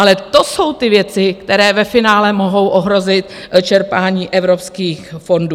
Ale to jsou ty věci, které ve finále mohou ohrozit čerpání evropských fondů.